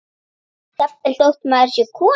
Jafnvel þótt maður sé kona.